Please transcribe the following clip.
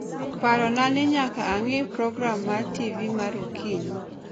Parona ni nyaka ang'i program mar TV mar okinyi